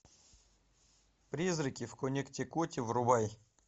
призраки в коннектикуте врубай